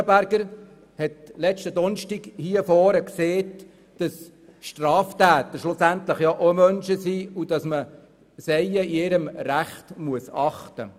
Grossrätin Gaby Schönenberger sagte am vergangenen Donnerstag hier am Mikrofon, Straftäter seien schlussendlich auch Menschen und sie sollten in ihrem Recht geachtet werden.